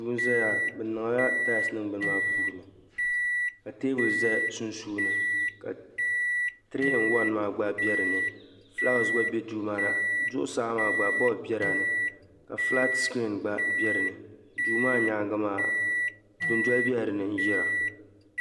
Duu n-zaya. Bɛ niŋla talisi niŋ bini maa puuni ka teebuli za sunsuuni ka tiree in wan maa gba be dinni. Fulaawaasi gba be duu maa ni. Zuɣusaa maa gba bolifu bela ni ka fulaati sikirin gba be di ni. Duu maa nyaaŋga maa dundoli bela dinni n-yira.